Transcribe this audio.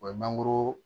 O ye mangoro